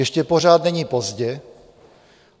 Ještě pořád není pozdě.